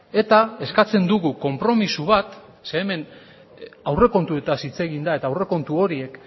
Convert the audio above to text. eta eskatzen dugu konpromiso bat zeren hemen aurrekontuetaz hitz egin da eta aurrekontu horiek